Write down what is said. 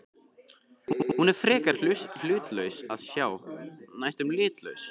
Hún er frekar hlutlaus að sjá, næstum litlaus.